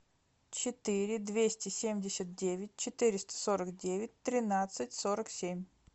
четыре двести семьдесят девять четыреста сорок девять тринадцать сорок семь